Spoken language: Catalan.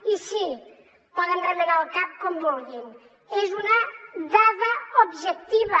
i sí poden remenar el cap com vulguin és una dada objectiva